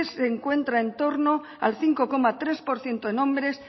se encuentra en torno al cinco coma tres por ciento en hombres